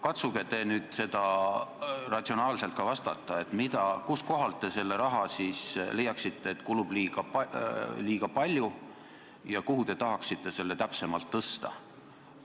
Katsuge nüüd ratsionaalselt vastata, kust kohalt te selle raha siis leiaksite, mida kulub liiga palju, ja kuhu te tahaksite selle täpsemalt tõsta.